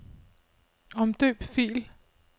Omdøb fil.